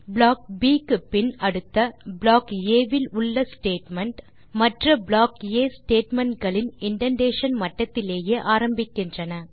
block ப் க்குப்பின் அடுத்த ப்ளாக் ஆ வில் உள்ள ஸ்டேட்மெண்ட் மற்ற ப்ளாக் ஆ ஸ்டேட்மென்ட்ஸ் களின் இண்டென்டேஷன் மட்டத்திலேயே ஆரம்பிக்கின்றன